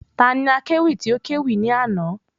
Ta ni akẹ́wì tí o kẹ́wì ní àná?